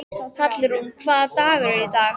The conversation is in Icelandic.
Hallrún, hvaða dagur er í dag?